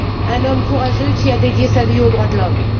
Un homme courageux, qui a dédié sa vie aux droits de l'homme.